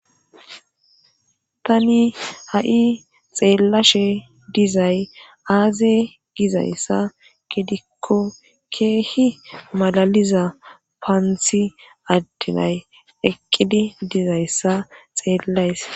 Tani ha7i xeellashe dizay aaze gizayssa gidikko keehi malaliza paanthi addenay eqqidi dizayssa xeellays.